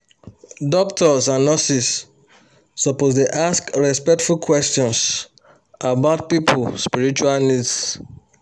doctors and nurses suppose dey ask respectful questions about people spiritual needs